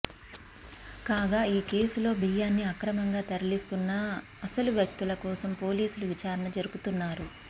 కాగా ఈ కేసులో బియ్యాన్ని అక్రమంగా తరలిస్తున్న అసలువ్యక్తుల కోసం పోలీసులు విచారణ జరుపుతున్నారు